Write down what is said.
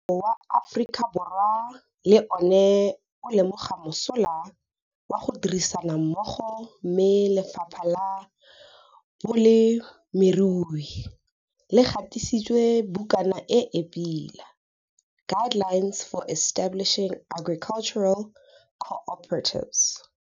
Mmuso wa Afrikaborwa le one o lemoga mosola wa ditirisanommogo mme Lefapha la Bolemirui le gatisitswe bukana e e pila - Guidelines for Establishing Agricultural Co-operatives.